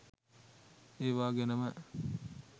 ඒවා ගැනම